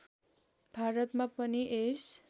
भारतमा पनि यस